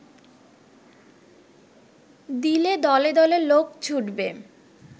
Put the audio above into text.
দিলে দলে দলে লোক ছুটবে